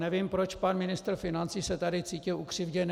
Nevím, proč pan ministr financí se tady cítil ukřivděn.